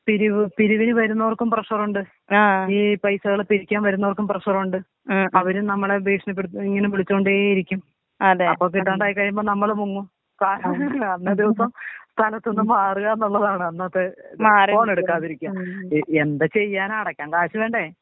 പിരിവ് പിരിവിനു വരുന്നവർക്കും പ്രഷറുണ്ട് ഈ പൈസേള് പിരിക്കാൻ വരുന്നവർക്കും പ്രഷറുണ്ട് അവരും നമ്മളെ ഭീഷണിപ്പെടുത്തി ഇങ്ങനെ വിളിച്ചോണ്ടെ ഇരിക്കും. അപ്പൊ കിട്ടാണ്ടായി കഴിയുമ്പം നമ്മള് മുങ്ങും അന്നേ ദിവസം സ്ഥലത്തു നിന്ന് മാറാ എന്നുള്ളതാണ് അന്നത്തെ. ഫോൺ എടുക്കാതിരിക്ക എന്ത് ചെയ്യാനാ അടക്കാൻ ക്യാഷ് വേണ്ടെ.